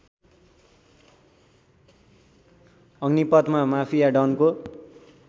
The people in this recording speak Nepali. अग्निपथमा माफिया डनको